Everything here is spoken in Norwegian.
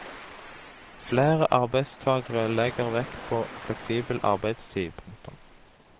Flere arbeidstagere legger vekt på fleksibel arbeidstid. punktum